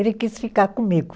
Ele quis ficar comigo.